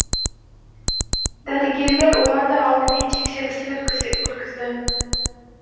дәрігерлер оларды алдымен тексерістен өткізді